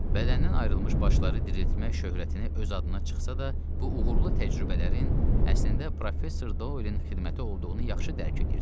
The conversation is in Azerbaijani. Bədəndən ayrılmış başları diriltmək şöhrətini öz adına çıxsa da, bu uğurlu təcrübələrin əslində Professor Doelin xidməti olduğunu yaxşı dərk eləyirdi.